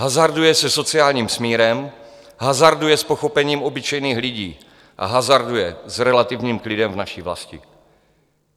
Hazarduje se sociálním smírem, hazarduje s pochopením obyčejných lidí a hazarduje s relativním klidem v naší vlasti.